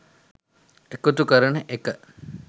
එකතු කරන එක.